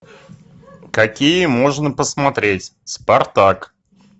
какие можно посмотреть спартак